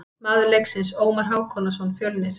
Maður leiksins: Ómar Hákonarson, Fjölnir.